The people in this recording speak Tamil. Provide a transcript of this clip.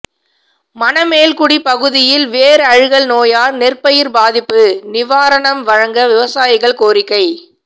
மணமேல்குடி பகுதியில் வேர் அழுகல் நோயால் நெற்பயிர் பாதிப்பு நிவாரணம் வழங்க விவசாயிகள் கோரிக்கை